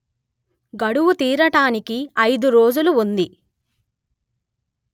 గడువు తీరటానికి అయిదు రోజులు ఉంది